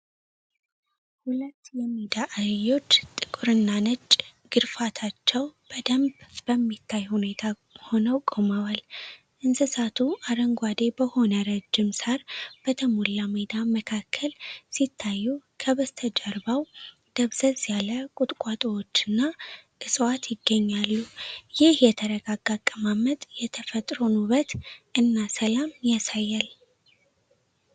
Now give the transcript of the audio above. ሁለት የሜዳ አህዮች ጥቁርና ነጭ ግርፋታቸው በደንብ በሚታይ ሁኔታ ሆነው ቆመዋል። እንስሳቱ አረንጓዴ በሆነ ረዥም ሳር በተሞላ ሜዳ መካከል ሲታዩ፣ ከበስተጀርባው ደብዘዝ ያለ ቁጥቋጦዎችና ዕፅዋት ይገኛሉ። ይህ የተረጋጋ አቀማመጥ የተፈጥሮን ውበት እና ሰላም ያሳያል።